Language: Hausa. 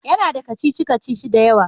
Ya na da kacici-kacici da yawa